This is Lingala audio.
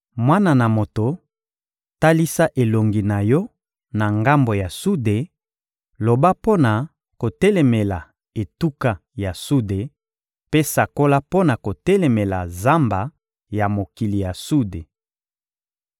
«Mwana na moto, talisa elongi na yo na ngambo ya sude, loba mpo na kotelemela etuka ya sude mpe sakola mpo na kotelemela zamba ya mokili ya sude.